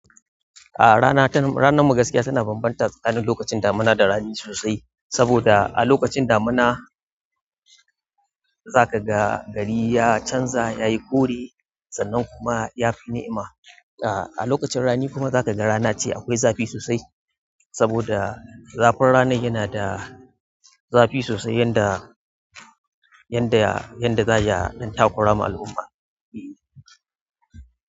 A rana ta, ranar mu gaskiya tana bambanta tsakanin lokacin damina da rani sosai saboda a lokacin damina za ka ga gari ya canza, ya yi ƙure sannan kuma ya fi ni'ima. A lokacin rani kuma za ka ga rana ce akwai zafi sosai saboda zafin rana yana da zafi sosai yanda, yanda, yanda za ya ɗan takura ma al'umma.